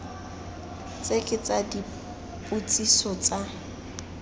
tse ke tsa dipotsiso tsa